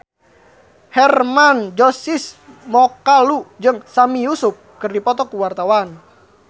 Hermann Josis Mokalu jeung Sami Yusuf keur dipoto ku wartawan